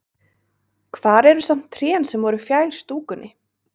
Hvar eru samt trén sem voru fjær stúkunni?